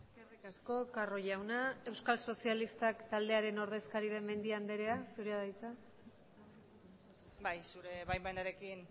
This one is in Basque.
eskerrik asko carro jauna euskal sozialistak taldearen ordezkari den mendia andrea zurea da hitza bai zure baimenarekin